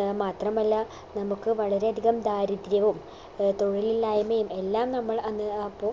ഏർ മാത്രമല്ല നമക്ക് വളരെ അധികം ദാരിദ്ര്യവും ഏർ തൊഴിലില്ലായ്മയും എല്ലാം നമ്മൾ അന്ന് അപ്പോ